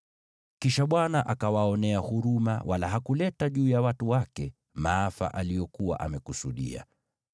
Kisha Bwana akawaonea huruma, wala hakuleta juu ya watu wake maafa aliyokuwa amekusudia.